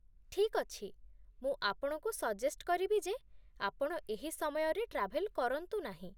ଠିକ୍ ଅଛି । ମୁଁ ଆପଣଙ୍କୁ ସଜେଷ୍ଟ୍ କରିବି ଯେ ଆପଣ ଏହି ସମୟରେ ଟ୍ରାଭେଲ୍ କରନ୍ତୁ ନାହିଁ ।